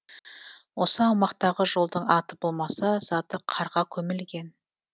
осы аумақтағы жолдың аты болмаса заты қарға көмілген